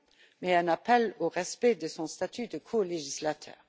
mais un appel au respect de son statut de colégislateur.